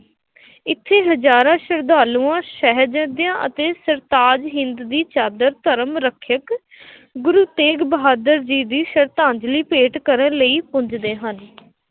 ਇੱਥੇ ਹਜ਼ਾਰਾਂ ਸ਼ਰਧਾਲੂਆਂ ਸ਼ਾਹਿਬਜ਼ਾਦਿਆਂ ਅਤੇ ਸਰਤਾਜ਼ ਹਿੰਦ ਦੀ ਚਾਦਰ ਧਰਮ ਰੱਖਿਅਕ ਗੁਰੂ ਤੇਗ ਬਹਾਦਰ ਜੀ ਦੀ ਸਰਧਾਂਜ਼ਲੀ ਭੇਂਟ ਕਰਨ ਲਈ ਪੁੱਜਦੇ ਹਨ।